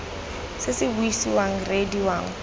se se buisiwang reediwang kgotsa